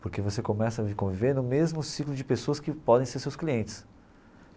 Porque você começa a conviver no mesmo ciclo de pessoas que podem ser seus clientes.